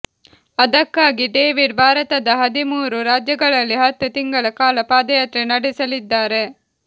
ಅದಕ್ಕಾಗಿ ಡೇವಿಡ್ ಭಾರತದ ಹದಿಮೂರು ರಾಜ್ಯಗಳಲ್ಲಿ ಹತ್ತು ತಿಂಗಳ ಕಾಲ ಪಾದಯಾತ್ರೆ ನಡೆಸಲಿದ್ದಾರೆ